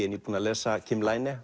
er nýbúinn að lesa